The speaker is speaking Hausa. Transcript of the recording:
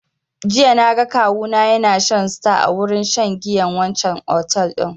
Jiya na ga kawu na ya na shan star a wurin shan giyan wancan otel din